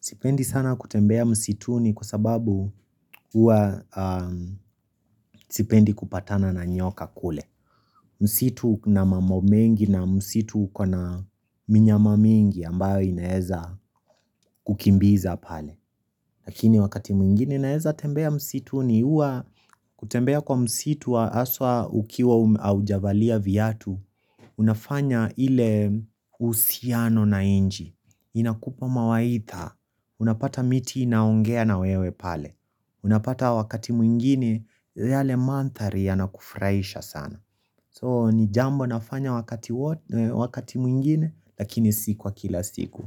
Sipendi sana kutembea msituni kwa sababu huwa sipendi kupatana na nyoka kule. Msitu una mambo mengi na msitu uko na minyama mingi ambayo inaweza kukimbiza pale. Lakini wakati mwingine naeza tembea msituni huwa kutembea kwa msitu wa haswa ukiwa haujavalia viatu. Unafanya ile uhusiano na nchi. Inakupa mawaidha. Unapata miti inaongea na wewe pale Unapata wakati mwingine yale mandhari yanakufurahisha sana So ni jambo nafanya wakati mwingine Lakini si kwa kila siku